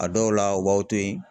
A dɔw la u b'aw to yen.